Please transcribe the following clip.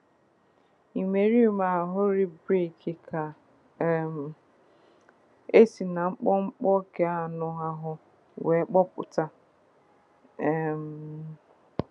Imerime ahịrị brik ka um e si na mkpọmkpọ keanọ ahụ wee kpụpụta. um